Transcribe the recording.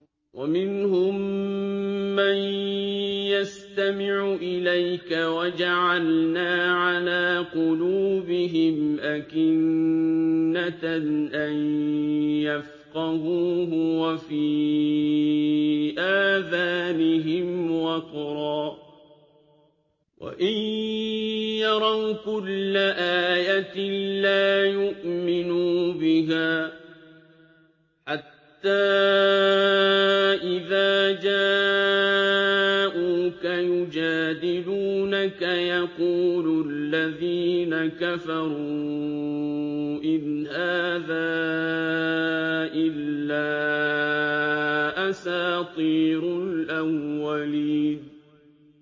وَمِنْهُم مَّن يَسْتَمِعُ إِلَيْكَ ۖ وَجَعَلْنَا عَلَىٰ قُلُوبِهِمْ أَكِنَّةً أَن يَفْقَهُوهُ وَفِي آذَانِهِمْ وَقْرًا ۚ وَإِن يَرَوْا كُلَّ آيَةٍ لَّا يُؤْمِنُوا بِهَا ۚ حَتَّىٰ إِذَا جَاءُوكَ يُجَادِلُونَكَ يَقُولُ الَّذِينَ كَفَرُوا إِنْ هَٰذَا إِلَّا أَسَاطِيرُ الْأَوَّلِينَ